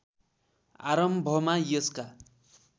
आरम्भमा यसका